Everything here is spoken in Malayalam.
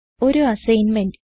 ഒരു അസ്സിഗ്ന്മെന്റ്